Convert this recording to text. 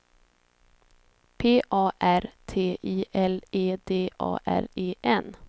P A R T I L E D A R E N